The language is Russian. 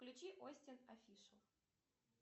включи остин офишел